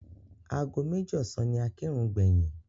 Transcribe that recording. Ago méjì ọ̀sán ni a kírun gbẹ̀yìn.